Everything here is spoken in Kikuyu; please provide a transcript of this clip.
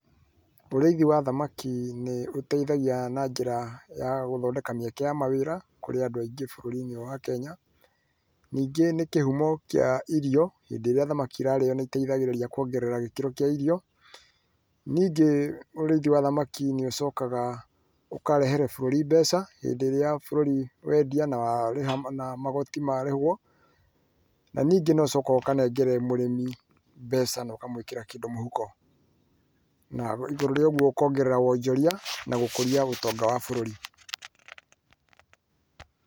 Ũrĩithi wa thamaki nĩ ũteithagia na njĩra ya gũthondeka mĩeke ya mawĩra kũrĩ andũ aingĩ bũrũri-inĩ wa Kenya, ningĩ nĩ kĩhumo kĩa irio, hĩndĩ ĩrĩa thamaki irarĩo nĩ iteithagĩrĩria kũongerera gĩkĩro kĩa irio. Ningĩ ũrĩithi wa thamaki nĩ ũcokaga ũkarehere bũrũri mbeca, hĩndĩ ĩrĩa bũrũri wendia na magooti marĩhwo, na ningĩ no ũcokaga ũkanengere mũrĩmi mbeca na ũkamwĩkĩra kĩndũ mũhuko. Na igũrũ rĩa ũguo ũkongerera wonjoria na gũkũria ũtonga wa bũrũri.